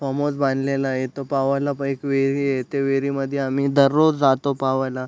Form house बांधलेला ये इथ पवायला पण विहिरी ये ते विहिरी मध्ये आम्ही दररोज जातो पवायला.